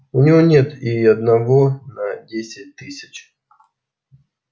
у него нет и одного на десять тысяч